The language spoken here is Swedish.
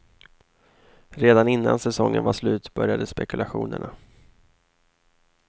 Redan innan säsongen var slut började spekulationerna.